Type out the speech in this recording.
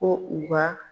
Ko u ka